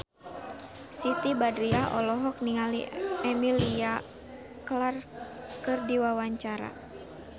Siti Badriah olohok ningali Emilia Clarke keur diwawancara